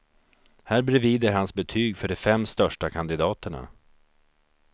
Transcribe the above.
Här bredvid är hans betyg för de fem största kandidaterna.